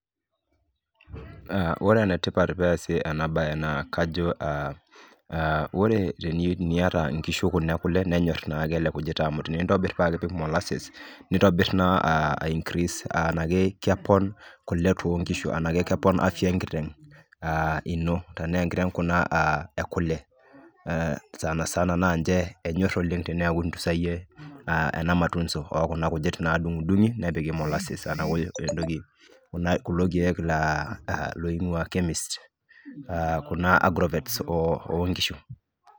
Ore ene tipat peesi ena baye naa kajo aa aa ore teniyata inkishu kuna e kule nenyor naake ele kujita amu tenintobir paake ipik moluses nitobir naa aa aincrease aa enake kepon kule too nkishu anake kepon afya enkiteng' aa ino tenaa enkiteng' kuna aa e kule ee sana sana naa nche enyor oleng' teneeku intunzayie ena matunzo oo kuna kujit naadung'dung'i nepiki moluses anake entoki kuna kulo keek laaing'ua chemist aa kuna agrovets oo oo nkishu.